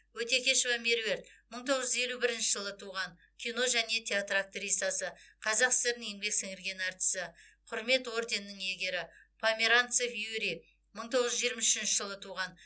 өтекешова меруерт мың тоғыз жүз елу бірінші жылы туған кино және театр актрисасы қазақ сср інің еңбек сіңірген артисі құрмет орденінің иегері померанцев юрий мың тоғыз жүз жиырма үшінші жылы туған